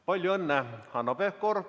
Palju õnne, Hanno Pevkur!